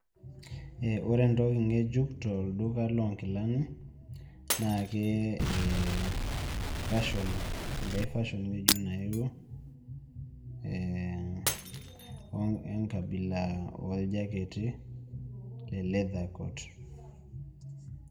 Eh ore entoki ng'ejuk tolduka loonkilani naakee eeh fashion, engai fashion ng'ejuk naepuo eeh enkabila ooljaketi le [vs]leather coat.